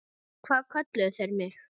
Hvað kölluðu þeir mig?